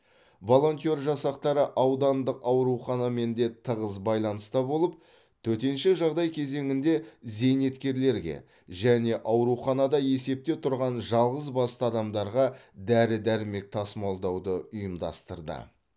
волонтер жасақтары аудандық ауруханамен де тығыз байланыста болып төтенше жағдай кезеңінде зейнеткерлерге және ауруханада есепте тұрған жалғызбасты адамдарға дәрі дәрмек тасымалдауды ұйымдастырды